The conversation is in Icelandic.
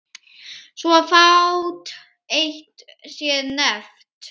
Svo fátt eitt sé nefnt.